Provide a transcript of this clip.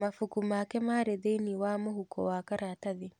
Mabuku make marĩ thĩinĩ wa mũhuko wa karatathi.